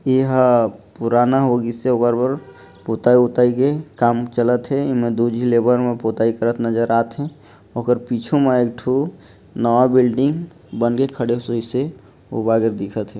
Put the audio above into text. एहा पुराना होगीसे ओकर बर पोताई के काम चला थे एमा दु झी लेबर मन पोताई करत नज़र आथे ओकर पीछू मे एक ठो नवा बिल्डिंग बन के खड़े स होइसे ओ बगे दिखा थे ।